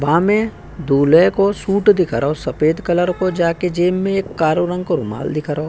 वामे दूल्हे को सूट दिख रओ सफेद कलर को जाके जेब में एक कारो रंग को रुमाल दिख रओ।